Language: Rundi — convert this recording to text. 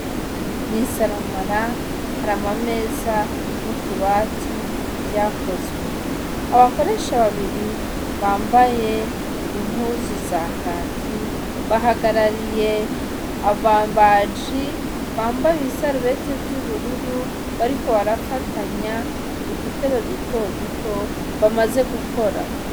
Mw'isaramara hari ama meza n'utubati vyakozwe, abakoresha babiri bambaye impuzu za kaki bahagarariye ababaji bambaye ibisarubete vy'ubururu bariko barafatanya udutebe duto duto bamaze gukora.